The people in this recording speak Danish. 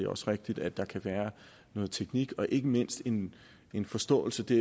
også rigtigt at der kan være noget teknik og ikke mindst en en forståelse det